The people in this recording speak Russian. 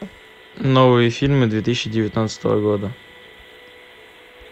новые фильмы две тысячи девятнадцатого года